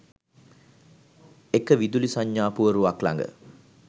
එක විදුලි සංඥා පුවරුවක් ළඟ